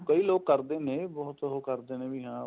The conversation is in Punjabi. ਕਈ ਲੋਕ ਕਰਦੇ ਨੇ ਬਹੁਤ ਉਹ ਕਰਦੇ ਨੇ ਵੀ ਹਾਂ